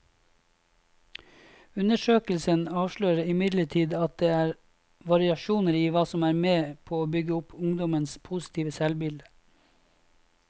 Undersøkelsen avslører imidlertid at det er variasjoner i hva som er med på å bygge opp ungdommenes positive selvbilde.